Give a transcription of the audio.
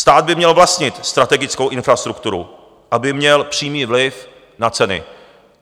Stát by měl vlastnit strategickou infrastrukturu, aby měl přímý vliv na ceny.